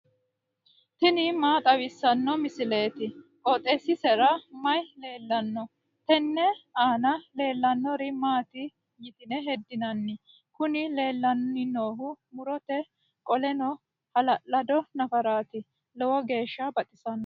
tini maa xawissanno misileeti? qooxeessisera may leellanno? tenne aana leellannori maati yitine heddinanni? Kuni leellanni noohu murote qoleno hala'lado nafaraati lowo geeshsha baxisanoho.